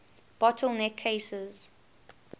bottle neck cases